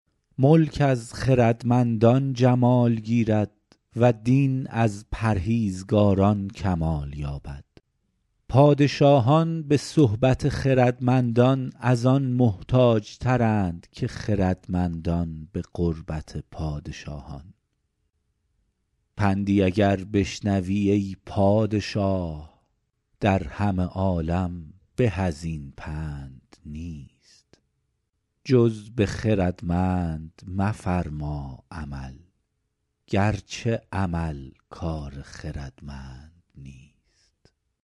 ملک از خردمندان جمال گیرد و دین از پرهیزگاران کمال یابد پادشاهان به صحبت خردمندان از آن محتاج ترند که خردمندان به قربت پادشاهان پندی اگر بشنوی ای پادشاه در همه عالم به از این پند نیست جز به خردمند مفرما عمل گرچه عمل کار خردمند نیست